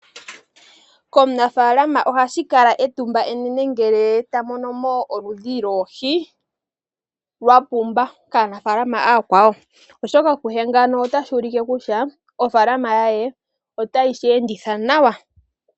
Komunafaalamanoha shi kala etumba enene ngele ta mono mo oludhi lwoohi lwapumba kaanafaalama ooyakwawo. Kuye ota shi ulike kutya ofaalama ye ota yi sheenditha nawa.